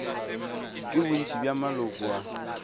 ke bontši bja maloko a